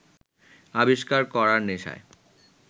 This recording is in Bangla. আবিষ্কার করার নেশায়